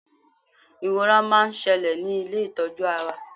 iwọ́ra ma n ṣẹlẹ ní ilé itọju ara